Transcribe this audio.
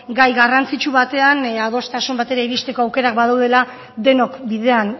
gai garrantzitsu batean adostasun batera iristeko aukerak badaudela denok bidean